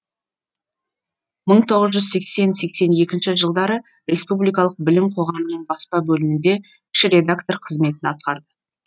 мың тоғыз жүз сексен сексен екінші жылдары республикалық білім қоғамының баспа бөлімінде кіші редактор қызметін атқарды